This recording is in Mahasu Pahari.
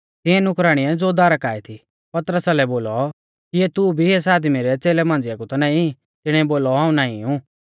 तिऐं नुकराणीऐ ज़ो दारा काऐ थी पतरसा लै बोलौ किऐ तू भी एस आदमी रै च़ेलै मांझ़िया कु ता नाईं तिणीऐ बोलौ हाऊं नाईं ऊ